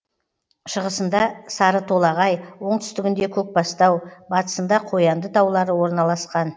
шығысында сарытолағай оңтүстігінде көкбастау батысында қоянды таулары орналасқан